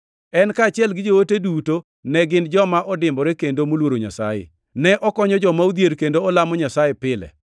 En kaachiel gi joode duto ne gin joma odimbore kendo moluoro Nyasaye. Ne okonyo joma odhier kendo olamo Nyasaye pile.